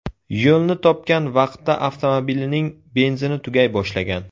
Yo‘lni topgan vaqtda avtomobilining benzini tugay boshlagan.